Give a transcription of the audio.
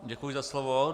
Děkuji za slovo.